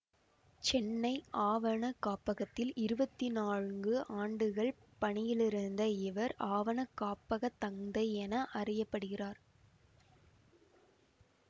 சென்னை ஆவண காப்பகத்தில் இருவத்தி நான்கு ஆண்டுகள் பணியிலிருந்த இவர் ஆவண காப்பகத் தந்தை என்று அறிய படுகிறார்